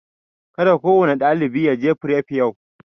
Ka da kowane ɗalibi ya je fref yau!